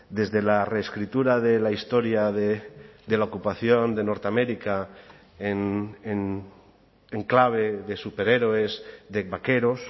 desde la reescritura de la historia de la ocupación de norteamérica en enclave de superhéroes de vaqueros